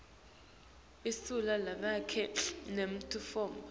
lisu lavelonkhe lemitfombo